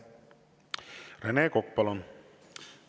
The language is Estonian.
Rene Kokk, palun!